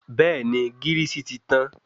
Bẹ́ẹ̀ni gírìsì ti tàn